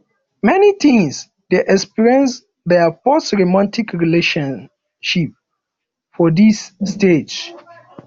many teens de experience their first romantic relationship for dis stage